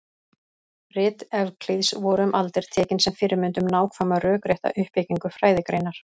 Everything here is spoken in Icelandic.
rit evklíðs voru um aldir tekin sem fyrirmynd um nákvæma rökrétta uppbyggingu fræðigreinar